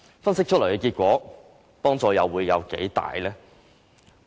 分析出來的結果，又可有多大幫助？